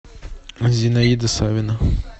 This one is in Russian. зинаида савина